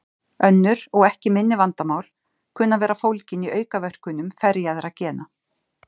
Önnur og ekki minni vandamál kunna að vera fólgin í aukaverkunum ferjaðra gena.